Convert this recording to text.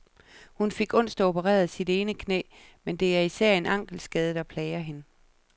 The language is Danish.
Hun fik onsdag opereret sit ene knæ, men det er især en ankelskade, der plager hende.